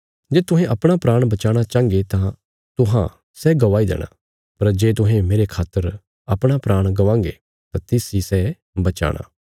जे तुहें अपणा प्राण बचाणा चांहन्गे तां तुहां सै गवाई देणा पर जे तुहें मेरे खातर अपणा प्राण गवांगे तां तिस इ सै बचाणा